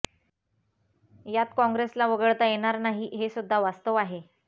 यात काँग्रेसला वगळता येणार नाही हे सुद्धा वास्तव आहे